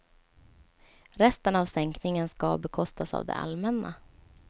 Resten av sänkningen ska bekostas av det allmänna.